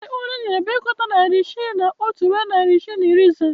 Ee, ọrụ enyere bụ ịgụta narị isii na otu ruo narị isii na iri ise